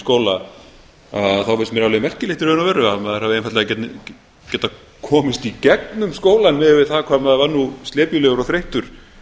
skóla finnst mér alveg merkilegt í raun og veru að maður hafi einfaldlega getað komist í gegnum skólann miðað við það hvað maður var nú slepjulegur og þreyttur